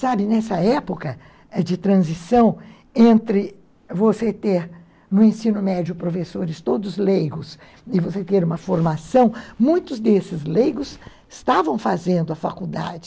Sabe, nessa época é, de transição, entre você ter no ensino médio professores, todos leigos, e você ter uma formação, muitos desses leigos estavam fazendo a faculdade.